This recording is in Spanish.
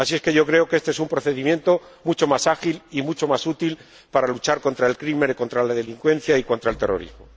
Así es que yo creo que este es un procedimiento mucho más ágil y mucho más útil para luchar contra el crimen, contra la delincuencia y contra el terrorismo.